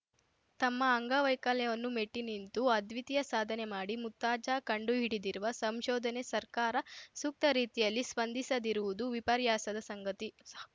ತಮ್ಮ ಅಂಗವೈಕಲ್ಯವನ್ನು ಮೆಟ್ಟಿ ನಿಂತು ಅದ್ವಿತೀಯ ಸಾಧನೆ ಮಾಡಿ ಮುರ್ತಾಜಾ ಕಂಡು ಹಿಡಿದಿರುವ ಸಂಶೋಧನೆ ಸರ್ಕಾರ ಸೂಕ್ತ ರೀತಿಯಲ್ಲಿ ಸ್ಪಂದಿಸದಿರುವುದು ವಿಪರ್ಯಾಸದ ಸಂಗತಿಸ